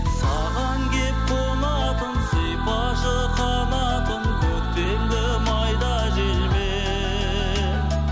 саған келіп қонатын сипашы қанатын көктемгі майда желмен